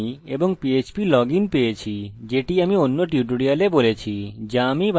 আমি phpacademy এবং phplogin পেয়েছি যেটি অন্য টিউটোরিয়ালে বলেছি যা আমি বানিয়েছি